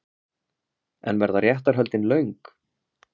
En verða réttarhöldin löng?